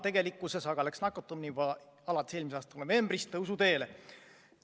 Tegelikkuses aga läks nakatumine juba alates eelmise aasta novembrist tõusuteele.